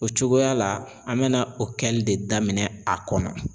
O cogoya la an bɛna o kɛli de daminɛ a kɔnɔ.